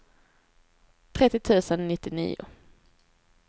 trettio tusen nittionio